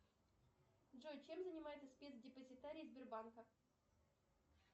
джой чем занимается спецдепозитарий сбербанка